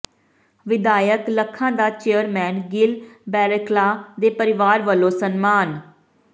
ਵਿਧਾਇਕ ਲੱਖਾ ਦਾ ਚੇਅਰਮੈਨ ਗਿੱਲ ਬੇਰਕਲਾਾ ਦੇ ਪਰਿਵਾਰ ਵੱਲੋਂ ਸਨਮਾਨ